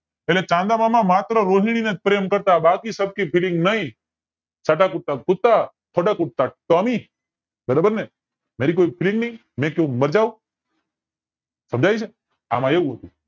એટલે ચાંદા મામા ખાલી રોહિણી ને જ પ્રેમ કરતા બાકી સબકી FELLING નય સાડા કુત્તા કુત્તા તોડા કુત્તા ટોમી બરોબર ને VERY GOOD સમજાય છે એમાં એવું છે